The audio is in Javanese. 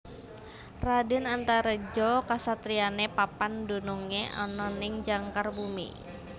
Raden Antareja kasatriyané papan dunungé ana ing Jangkarbumi